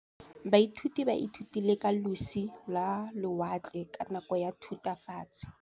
Baithuti ba ithutile ka losi lwa lewatle ka nako ya Thutafatshe.